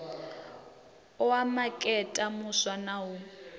oa makete muswa na u